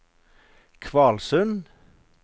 Kvalsund